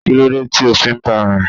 Kílódé tí o fi ń ba rìn?